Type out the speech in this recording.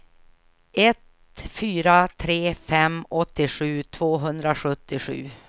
ett fyra tre fem åttiosju tvåhundrasjuttiosju